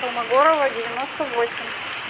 холмогорова девяносто восемь